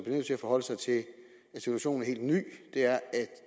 nødt til at forholde sig til at situationen er helt ny er